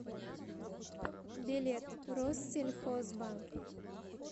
билет россельхозбанк